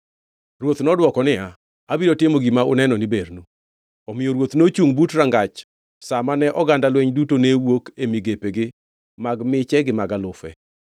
Ruoth nodwoko niya, “Abiro timo gima uneno ni bernu.” Omiyo ruoth nochungʼ but rangach sa ma ne oganda lweny duto ne wuok e migepegi mag miche gi mag alufe.